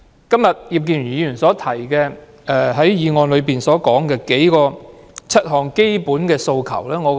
今天，葉建源議員在議案中提出7項基本訴求。